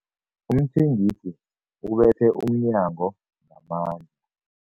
Umthengisi ubethe umnyango ngamandla.